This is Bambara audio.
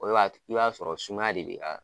O de b'a to, i b'a sɔrɔ sumaya de be